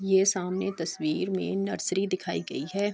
یہ سامنے تشویر مے نرسری دکھائیگیی ہے۔